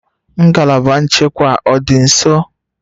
Ngalaba nchekwa ọ dị nso?